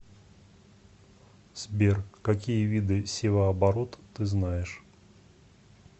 сбер какие виды севооборот ты знаешь